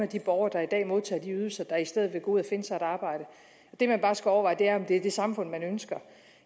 de borgere der i dag modtager de ydelser der i stedet ville gå ud og finde sig et arbejde det man bare skal overveje er om det er det samfund man ønsker